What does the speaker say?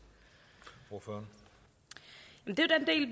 ordner